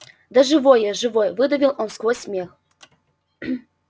да живой я живой выдавил он сквозь смех